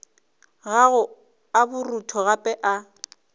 gago a borutho gape a